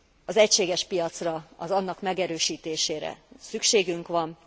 Az egységes piacra, annak megerősítésére szükségünk van.